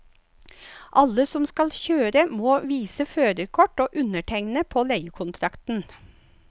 Alle som skal kjøre må vise førerkort og undertegne på leiekontrakten.